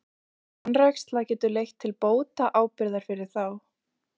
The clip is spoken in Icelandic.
Slík vanræksla getur leitt til bótaábyrgðar fyrir þá.